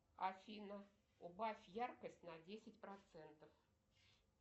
афина убавь яркость на десять процентов